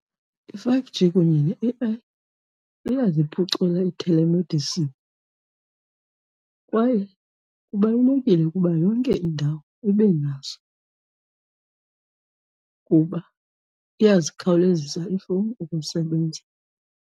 I-five G kunye ne-A_I iyaziphucula ii-telemedicine kwaye kubalulekile ukuba yonke indawo ibe nazo kuba iyazikhawulezisa iifowuni ukusebenza.